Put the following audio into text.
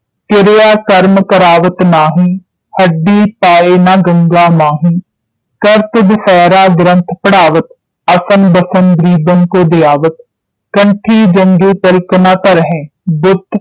ਕਿਰਿਆ ਕਰਮ ਕਰਾਵਤ ਨਾਹੀਂ ਹੱਡੀ ਪਾਂਯ ਨ ਗੰਗਾ ਮਾਹੀ ਕਰਤ ਦਸਹਿਰਾ ਗ੍ਰੰਥ ਪੜ੍ਹਾਵਤ ਅਸਨ ਬਸਨ ਗ੍ਰੀਬਨ ਕੋ ਯਾਵਤ ਕੰਠੀ ਜੰਞ ਤਿਲਕ ਨ ਧਰਹੈਂ ਬੁੱਤ